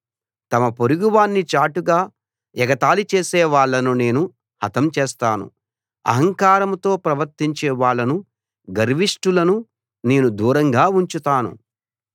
తమ పొరుగువాణ్ణి చాటుగా ఎగతాళి చేసే వాళ్ళను నేను హతం చేస్తాను అహంకారంతో ప్రవర్తించే వాళ్ళను గర్విష్టులను నేను దూరంగా ఉంచుతాను